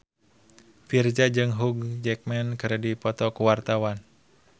Virzha jeung Hugh Jackman keur dipoto ku wartawan